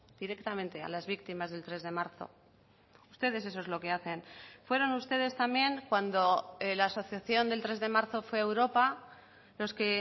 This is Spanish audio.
directamente a las víctimas del tres de marzo ustedes eso es lo que hacen fueron ustedes también cuando la asociación del tres de marzo fue a europa los que